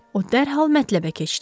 O dərhal mətləbə keçdi.